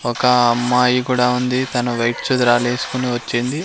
ఒక అమ్మాయి కుడా ఉంది తను వైట్ చుదిరాల్ లేస్కుని వచ్చింది.